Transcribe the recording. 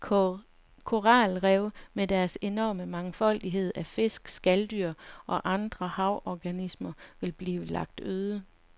Koralrev med deres enorme mangfoldighed af fisk, skalddyr og andre havorganismer vil blive lagt øde.